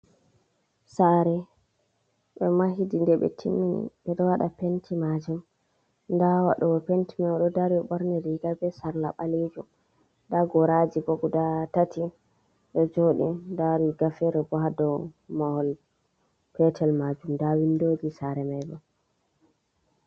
Saare, ɓe mahidi nde ɓe timmi ɓe ɓo waɗa penti maajum nda waɗowo penti mai ɗo dari borni riiga bee sarla ɓalejum nda goraaji bo guda tati ɗo joɗi nda riiga feere bo haa dow mahol petel maajum nda winndooji saare mai bo.